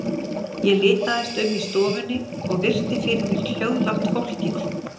Ég litaðist um í stofunni og virti fyrir mér hljóðlátt fólkið.